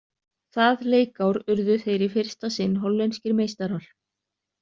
Það leikár urðu þeir í fyrsta sinn hollenskir meistarar.